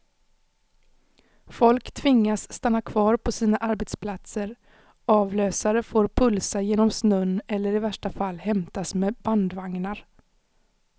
Folk tvingas stanna kvar på sina arbetsplatser, avlösare får pulsa genom snön eller i värsta fall hämtas med bandvagnar.